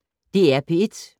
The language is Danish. DR P1